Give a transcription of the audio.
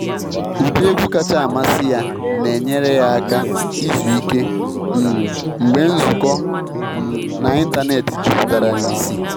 Ụdị egwu kacha amasị ya na enyere ya aka izu ike um mgbe nzukọ um n’ịntanetị juputara n’isi